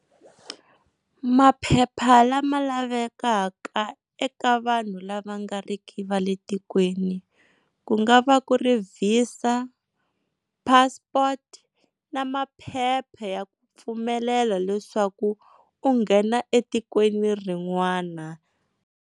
Maphepha lama lavekaka eka vanhu lava nga ri ki va le tikweni ku nga va ku ri Visa, passport na maphepha ya ku pfumelela leswaku u nghena etikweni rin'wana.